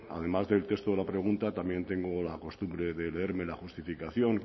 además del texto de la pregunta también tengo la costumbre de leerme la justificación